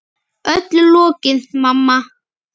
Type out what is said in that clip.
Öllu lokið, mamma.